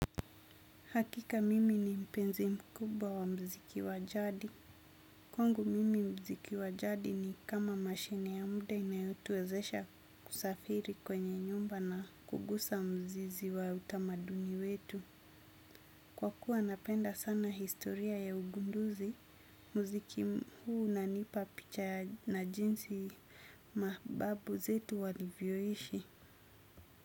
Hakika mimi ni mpenzi mkubwa wa mziki wajadi. Kwangu mimi mziki wajadi ni kama mashine ya mde inayotuwezesha kusafiri kwenye nyumba na kugusa mzizi wa utamaduni wetu. Kwa kuwa napenda sana historia ya ugunduzi, mziki huu una nipa picha na jinsi mababu zetu walivyoishi.